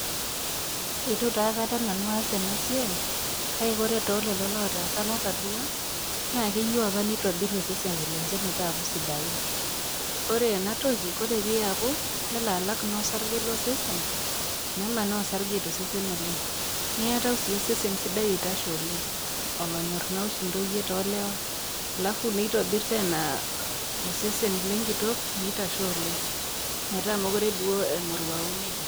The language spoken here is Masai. Eitu taa aikata nanu aas ena siai, kake kore te lelo oo taasa natodua, naa keiyou opa neitobir iseseni lenye metaku sidain. Kore ena toki, oree pee iapu nelo naa alak osarge lo sesen, nemanaa naa osarge to sesesn oleng', niatau naa osesen sidai oitasho oleng'olonyor naa oshi intoyie too ilewa. Alafu neitobir naa tena osesen lenkitok meitasho oleng' metaa mekure duo emoruau neija.